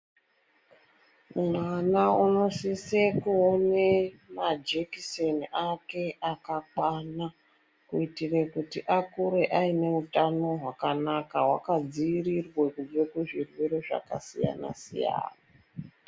Mwana unosise kuone majekiseni ake akakwana kuitire kuti akure aine utano hwakanaka hwakadziirirwe kubve kuzvirwere zvakasiyana siyana.